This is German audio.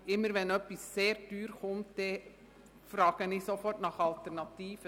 Immer, wenn etwas sehr teuer wird, frage ich sofort nach Alternativen.